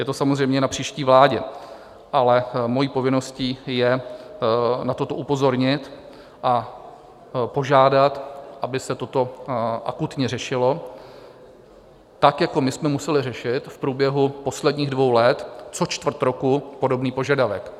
Je to samozřejmě na příští vládě, ale mojí povinností je na toto upozornit a požádat, aby se toto akutně řešilo tak, jako my jsme museli řešit v průběhu posledních dvou let co čtvrt roku podobný požadavek.